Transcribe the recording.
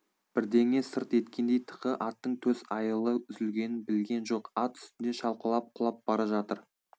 бірдеңе сырт еткендей тықы аттың төс айылы үзілгенін білген жоқ ат үстінде шалқалап құлап бара жатыр